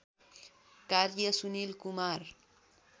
कार्य सुनिल कुमार